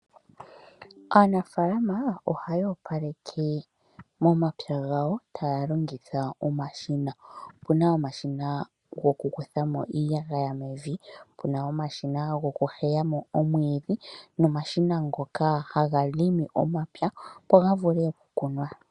Aanafaalama ohaya opaleke momapya gawo, taya longitha omashina. Opu na omashina gokukutha mo iiyagaya mevi, pu na omashina gokuheya mo omwiidhi, nomashina ngoka haga longo omapya, opo ga vule okukunwa.